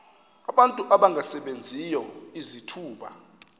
abantu abangasebenziyo izithuba